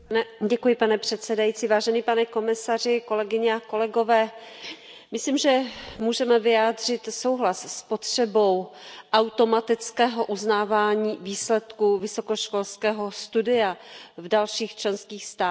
Pane předsedající, vážený pane komisaři, kolegyně a kolegové, myslím, že můžeme vyjádřit souhlas s potřebou automatického uznávání výsledků vysokoškolského studia v dalších členských státech.